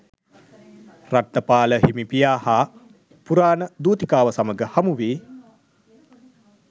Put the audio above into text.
රට්ඨපාල හිමි පියා හා පුරාණ දූතිකාව සමග හමුවී